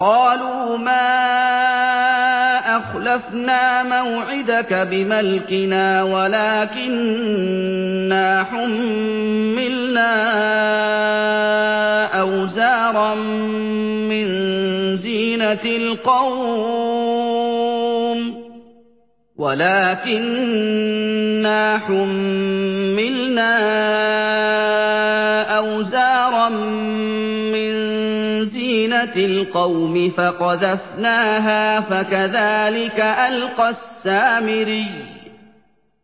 قَالُوا مَا أَخْلَفْنَا مَوْعِدَكَ بِمَلْكِنَا وَلَٰكِنَّا حُمِّلْنَا أَوْزَارًا مِّن زِينَةِ الْقَوْمِ فَقَذَفْنَاهَا فَكَذَٰلِكَ أَلْقَى السَّامِرِيُّ